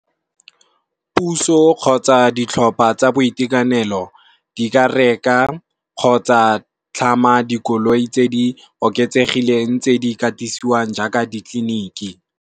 Puso kgotsa ditlhopha tsa boitekanelo di ka reka, kgotsa tlhama dikoloi tse di oketsegileng tse di katisiwang jaaka ditleliniki.